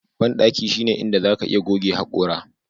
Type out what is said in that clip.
Bandaki shine inda zaka iya goge hakora